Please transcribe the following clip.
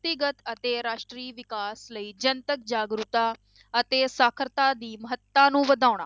~ਤੀਗਤ ਅਤੇ ਰਾਸ਼ਟਰੀ ਵਿਕਾਸ ਲਈ ਜਨਤਕ ਜਾਗਰੂਕਤਾ ਅਤੇ ਸਾਖ਼ਰਤਾ ਦੀ ਮਹੱਤਤਾ ਨੂੰ ਵਧਾਉਣ।